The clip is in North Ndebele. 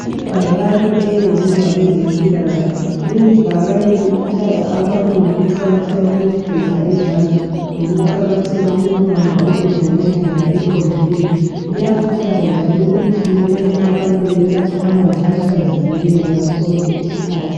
Ibhakane eliyenziwe ngabezempilakahle. Lelibhakane likhuthaza abantu ngokuqkatheka kokugeza izandla lokuqakatheka kokubamba ukudla ngendlela eqondileyo. Liyakhuthaza njalo ukuthi kumele abantu benathe amanzi ahlanzekileyo ngaso sonke isikhathi.